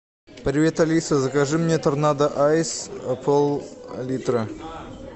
привет алиса закажи мне торнадо айс пол литра